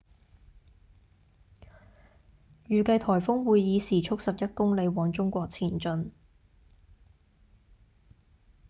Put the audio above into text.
預計颱風會以時速11公里往中國前進